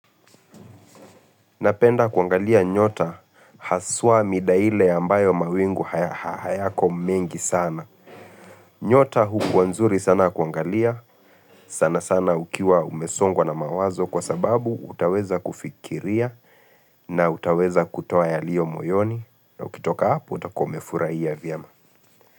Napenda kyangalia nyota haswa midaile ambayo mawingu haya haya hayako mingi sana. Nyota hukuwa nzuri sana kuangalia. Sana sana ukiwa umesongwaol na mawazo kwa sababu utaweza kufikiria na utaweza kutoa yalio moyoni. Na ukitoka hapo utakuwa umefurahiya vyema.